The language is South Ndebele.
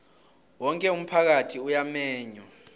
woke umphakathi uyamenywa